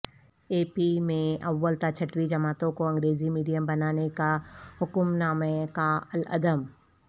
اے P میں اول تا چھٹویں جماعتوں کو انگریزی میڈیم بنانے کا حکمنامہ کالعدم